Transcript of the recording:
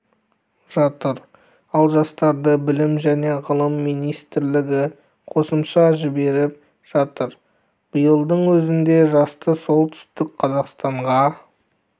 жатыр ал жастарды білім және ғылым министрлігі қосымша жіберіп жатыр биылдың өзінде жасты солтүстік қазақстанға